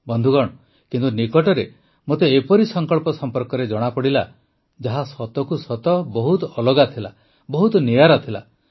ବନ୍ଧୁଗଣ କିନ୍ତୁ ନିକଟରେ ମୋତେ ଏପରି ସଂକଳ୍ପ ସମ୍ପର୍କରେ ଜଣାପଡ଼ିଲା ଯାହା ସତକୁ ସତ ବହୁତ ଅଲଗା ଥିଲା ବହୁତ ନିଆରା ଥିଲା